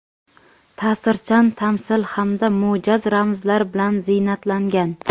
ta’sirchan tamsil hamda mo‘jaz ramzlar bilan ziynatlangan.